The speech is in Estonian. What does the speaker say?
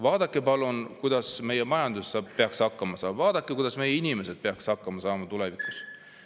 Vaadake palun, kuidas meie majandus peaks hakkama saama, vaadake, kuidas meie inimesed peaksid hakkama saama tulevikus.